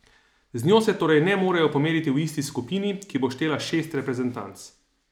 Z njo se torej ne morejo pomeriti v isti skupini, ki bo štela šest reprezentanc.